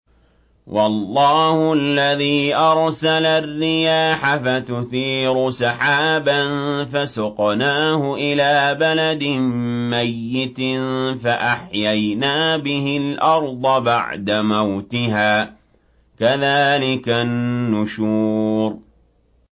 وَاللَّهُ الَّذِي أَرْسَلَ الرِّيَاحَ فَتُثِيرُ سَحَابًا فَسُقْنَاهُ إِلَىٰ بَلَدٍ مَّيِّتٍ فَأَحْيَيْنَا بِهِ الْأَرْضَ بَعْدَ مَوْتِهَا ۚ كَذَٰلِكَ النُّشُورُ